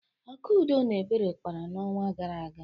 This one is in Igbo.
Akudo na Ebere kpara n'ọnwa gara aga.